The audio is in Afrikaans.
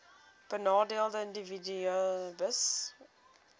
benadeelde individue hbis